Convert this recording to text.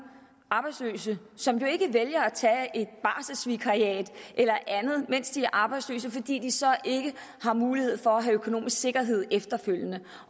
arbejdsløse som jo ikke vælger at tage et barselsvikariat eller andet mens de er arbejdsløse fordi de så ikke har mulighed for at have økonomisk sikkerhed efterfølgende